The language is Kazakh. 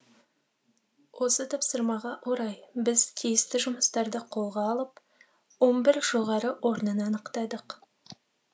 осы тапсырмаға орай біз тиісті жұмыстарды қолға алып он бір жоғары орнын анықтадық